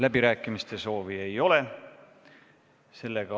Läbirääkimiste soovi ei ole.